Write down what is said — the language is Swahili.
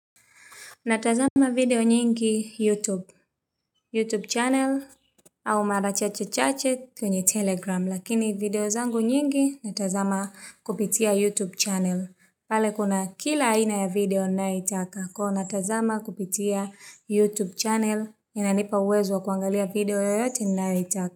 Natazama video nyingi YouTube, YouTube channel au mara chache chache kwenye Telegram. Lakini video zangu nyingi natazama kupitia YouTube channel. Pale kuna kila aina ya video na itaka. Kwa natazama kupitia YouTube channel inanipa uwezo wa kuangalia video yoyote ninayoitaka.